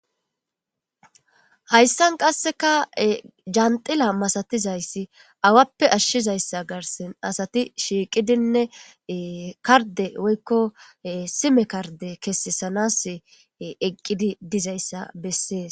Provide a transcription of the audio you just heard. hayssan qasseka janxila masatizayssi awappe ashshizayssa garsen asati shiiqidinne karde woykko sime karde kesesanas eqqidi dizayssa bessees